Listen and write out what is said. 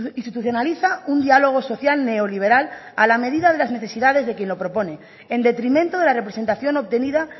institucionaliza un diálogo social neoliberal a la medida de las necesidades de quien lo propone en detrimento de la representación obtenida